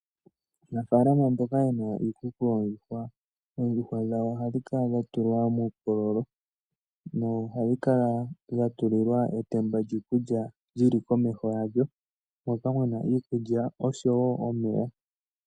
Aanafaalama mboka yena iikuku yoondjuhwa, oondjuhwa dhawo ohadhi kala dhatulwa muukololo. Ohadhi kala dhatulilwa etemba lyiikulya lili komeho yadho moka muna iikulya oshowo omeya.